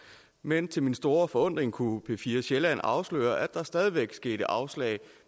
men til min store forundring kunne p4 sjælland afsløre at der stadig væk skete afslag